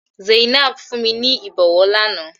Zainab fún mi ní ìbọwọ́ lánàá.